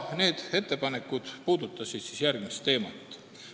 Need ettepanekud puudutasid järgmisi teemasid.